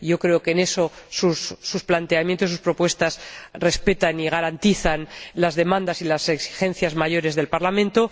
Creo que, en eso, sus planteamientos y sus propuestas respetan y garantizan las demandas y las exigencias principales del Parlamento.